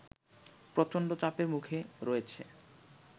প্রচণ্ড চাপের মুখে রয়েছে